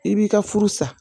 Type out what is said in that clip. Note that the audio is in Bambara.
I b'i ka furu sa